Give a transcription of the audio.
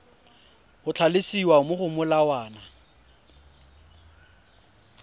go tlhalosiwa mo go molawana